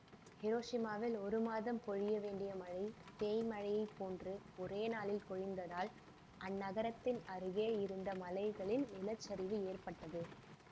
ஹிரோஷிமாவில் ஒரு மாதம் பொழிய வேண்டிய மழை பேய் மழையை போன்று ஒரே நாளில் பொழிந்ததால்அந்நகரத்தின் அருகே இருந்த மலைகளில் நிலச்சரிவு ஏற்ப்பட்டது